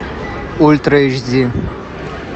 ультра эйч ди